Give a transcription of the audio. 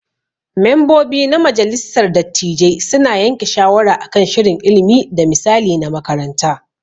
Membobi na majalissar dattijai su na yanke shawara akan shirin ilimi da misali na makaranta.